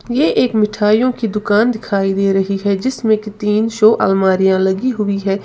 ये एक मिठाइयों की दुकान दिखाई दे रही है जिसमें की तीन शो अलमारियां लगी हुई है।